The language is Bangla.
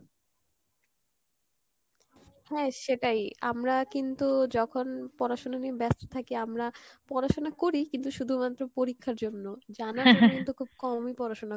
হ্যাঁ সেটাই আমরা কিন্তু, যখন পড়াশুনো নিয়ে ব্যাস্ত থাকি আমরা পড়াশোনা করি কিন্তু শুধুমাএ পরীক্ষার জন্য জানার জন্য কিন্তু খুব কমই পড়াশোনা